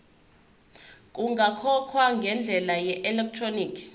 kungakhokhwa ngendlela yeelektroniki